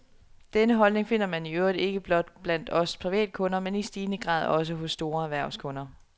Denne holdning finder man i øvrigt ikke blot blandt os privatkunder, men i stigende grad også hos store erhvervskunder.